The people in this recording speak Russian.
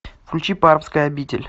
включи пармская обитель